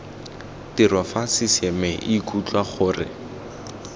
tiro fa ccma ikutlwa gore